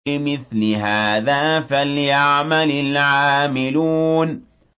لِمِثْلِ هَٰذَا فَلْيَعْمَلِ الْعَامِلُونَ